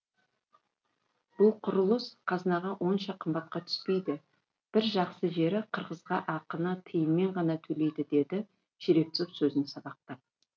бұл құрылыс қазынаға онша қымбатқа түспейді бір жақсы жері қырғызға ақыны тиынмен ғана төлейді деді жеребцов сөзін сабақтап